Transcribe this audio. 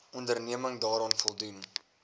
onderneming daaraan voldoen